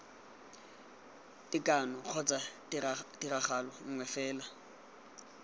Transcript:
tekano kgotsa tiragalo nngwe fela